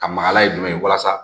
Ka magala ye jumɛn ye walasa